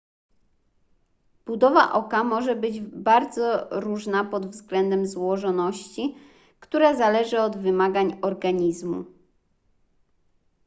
budowa oka może być bardzo różna pod względem złożoności która zależy od wymagań organizmu